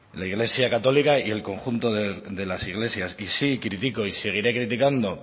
la iglesia católica y el conjunto de las iglesias y sí crítico y seguiré criticando